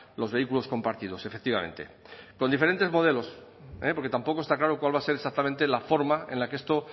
los vehículos compartidos efectivamente con diferentes modelos porque tampoco está claro cuál va a ser exactamente la forma en la que esto